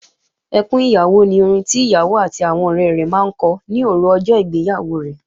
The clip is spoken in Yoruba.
Ẹkún ìyàwó ni orin tí ìyàwó àti àwọn ọ̀rẹ rẹ̀ máa ń kọ ní òru ọjọ́ ìgbéyàwó rẹ̀